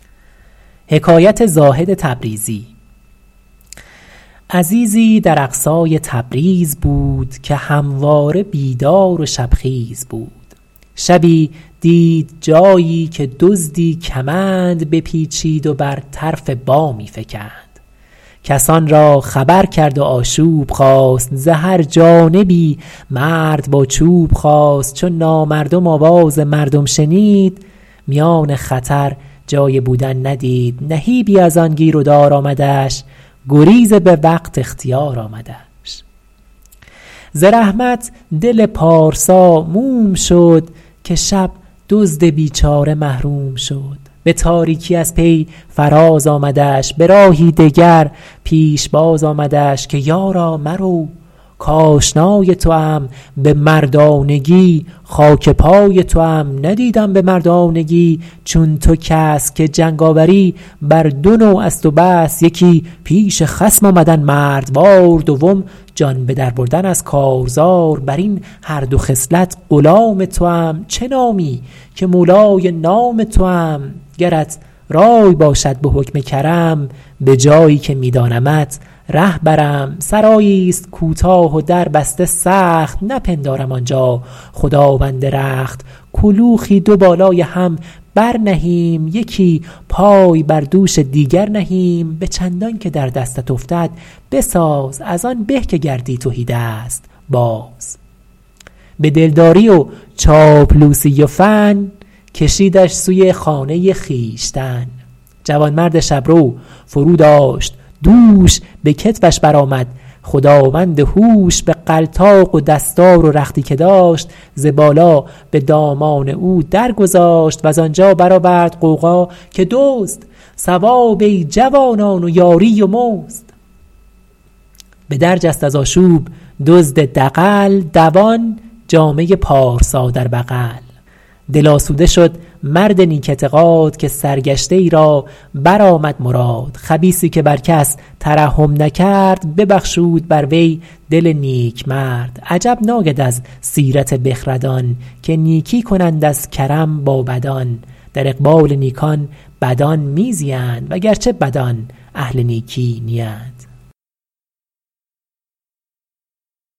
عزیزی در اقصای تبریز بود که همواره بیدار و شب خیز بود شبی دید جایی که دزدی کمند بپیچید و بر طرف بامی فکند کسان را خبر کرد و آشوب خاست ز هر جانبی مرد با چوب خاست چو نامردم آواز مردم شنید میان خطر جای بودن ندید نهیبی از آن گیر و دار آمدش گریز به وقت اختیار آمدش ز رحمت دل پارسا موم شد که شب دزد بیچاره محروم شد به تاریکی از پی فراز آمدش به راهی دگر پیشباز آمدش که یارا مرو کآشنای توام به مردانگی خاک پای توام ندیدم به مردانگی چون تو کس که جنگاوری بر دو نوع است و بس یکی پیش خصم آمدن مردوار دوم جان به در بردن از کارزار بر این هر دو خصلت غلام توام چه نامی که مولای نام توام گرت رای باشد به حکم کرم به جایی که می دانمت ره برم سرایی است کوتاه و در بسته سخت نپندارم آنجا خداوند رخت کلوخی دو بالای هم بر نهیم یکی پای بر دوش دیگر نهیم به چندان که در دستت افتد بساز از آن به که گردی تهیدست باز به دل داری و چاپلوسی و فن کشیدش سوی خانه خویشتن جوانمرد شبرو فرو داشت دوش به کتفش برآمد خداوند هوش بغلطاق و دستار و رختی که داشت ز بالا به دامان او در گذاشت وز آنجا برآورد غوغا که دزد ثواب ای جوانان و یاری و مزد به در جست از آشوب دزد دغل دوان جامه پارسا در بغل دل آسوده شد مرد نیک اعتقاد که سرگشته ای را برآمد مراد خبیثی که بر کس ترحم نکرد ببخشود بر وی دل نیکمرد عجب ناید از سیرت بخردان که نیکی کنند از کرم با بدان در اقبال نیکان بدان می زیند وگرچه بدان اهل نیکی نیند